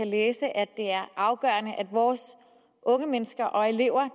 læse at det er afgørende at vores unge mennesker og elever